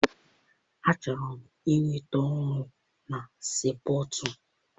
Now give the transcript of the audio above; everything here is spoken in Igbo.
Achọrọ m inweta ọrụ na sii pọtụ.